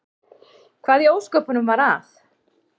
Hvað í ósköpunum var að?